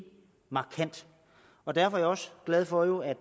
og derfor jo også glad for at